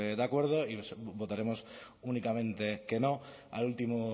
de acuerdo y votaremos únicamente que no al último